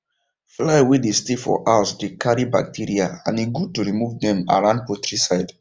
fly way dey stay for house dey carry bacteria and e good to remove dem around poultry side